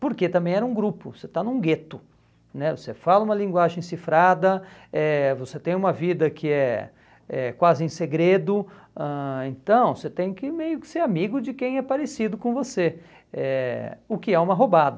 porque também era um grupo, você está num gueto né, você fala uma linguagem cifrada, eh você tem uma vida que é é quase em segredo, ãh então você tem que meio que ser amigo de quem é parecido com você, é o que é uma roubada.